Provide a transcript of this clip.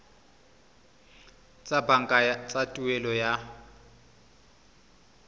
tsa banka tsa tuelo ya